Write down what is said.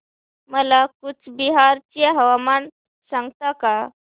मला कूचबिहार चे हवामान सांगता का